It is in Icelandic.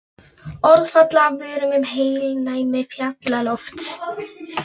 Orð falla af vörum um heilnæmi fjallalofts.